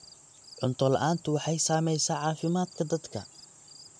Cunto la'aantu waxay saamaysaa caafimaadka dadka.